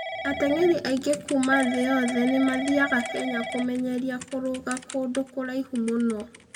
Ateng'eri aingĩ kuuma thĩ yothe nĩ mathiaga Kenya kũmenyeria kũrũga kũndũ kũraihu mũno.